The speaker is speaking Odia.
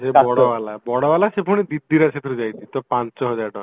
ସେଇ ବଡ ବାଲା ବଡ ବାଲା ସେ ପୁଣି ଦି ଦିଟା ସେଥିରୁ ଯାଇଛି ତ ପାଞ୍ଚ ହଜାର ଟଙ୍କା